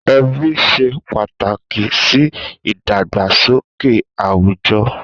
Èbí ṣé pàtákí si idàgbásóké àwújò